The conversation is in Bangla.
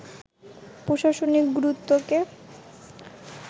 প্রশাসনিক গুরুত্বকে